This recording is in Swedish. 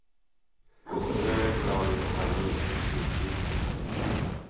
Strö ett lager farin över snittytorna.